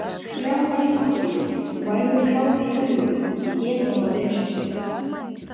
Skrjáfar í pappír, vægur kláði í augum, ég get þetta vel.